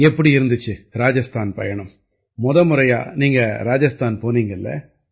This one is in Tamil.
எப்படி இருந்திச்சு ராஜஸ்தான் பயணம் முத முறையா நீங்க ராஜஸ்தான் போனீங்க இல்லை